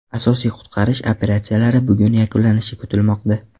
Asosiy qutqarish operatsiyalari bugun yakunlanishi kutilmoqda.